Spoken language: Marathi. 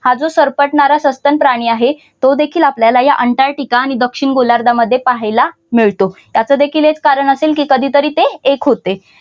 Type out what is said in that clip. हा जो सरपटणारा सस्तन प्राणी आहे तो देखील आपल्याला या अंटार्टिका आणि दक्षिण गोलार्धामध्ये पाहायला मिळतो. त्याचा देखील एक कारण असेल की कधीतरी ते एक होते.